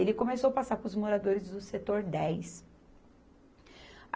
Ele começou a passar para os moradores do setor dez.